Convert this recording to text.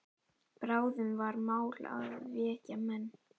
Bráðum var mál að vekja menn.